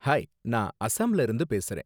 Hi! நான் அஸாம்ல இருந்து பேசுறேன்.